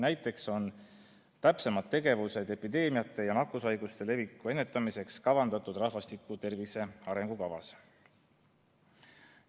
Näiteks on täpsemad tegevused epideemiate ja nakkushaiguste leviku ennetamiseks kavandatud rahvastiku tervise arengukavas.